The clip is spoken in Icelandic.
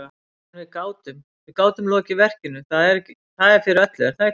En við gátum, við gátum lokið verkinu, það er fyrir öllu, er það ekki?